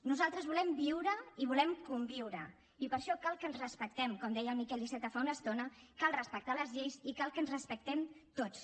nosaltres volem viure i volem conviure i per això cal que ens respectem com deia el miquel iceta fa una estona cal respectar les lleis i cal que ens respectem tots